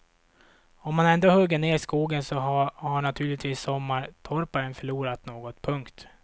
Om man ändå hugger ner skogen så har naturligtvis sommartorparn förlorat något. punkt